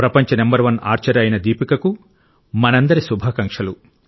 ప్రపంచ number one archer అయిన దీపికకు మనందరి శుభాకాంక్షలు